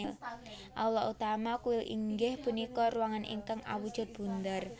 Aula utama kuil inggih punika ruangan ingkang awujud bunder